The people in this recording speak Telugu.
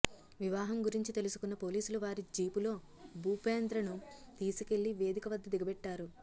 వివాహం గురించి తెలుసుకున్న పోలీసులు వారి జీపులో భూపేంద్రను తీసుకెళ్లి వేదిక వద్ద దిగబెట్టారు